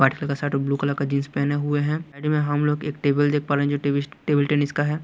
White colour का shirt और blue colour का जींस पहने हुए हैं साइड में हम लोग एक टेबल देख पा रहे हैं जो टेबल टेबल टेनिस का है।